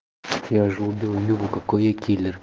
я уже убил юлю какой я киллер